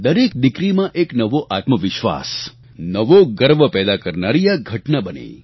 દરેક દિકરીમાં એક નવો આત્મવિશ્વાસ નવો ગર્વ પેદા કરનારી આ ઘટના બની